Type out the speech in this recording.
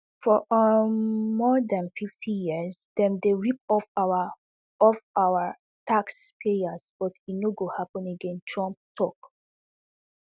for um more dan fifty years dem dey rip off our off our taxpayers but e no go happun again trump tok